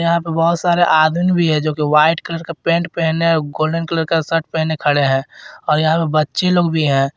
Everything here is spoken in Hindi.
यहां पे बहोत सारे आदमी है जो की वाइट कलर का पैंट पहने गोल्डन कलर का शर्ट पहने खड़े हैं और यहां पे बच्चे लोग भी हैं।